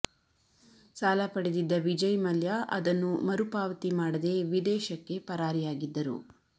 ಸಾಲ ಪಡೆದಿದ್ದ ವಿಜಯ್ ಮಲ್ಯ ಅದನ್ನು ಮರು ಪಾವತಿ ಮಾಡದೇ ವಿದೇಶಕ್ಕೆ ಪರಾರಿಯಾಗಿದ್ದರು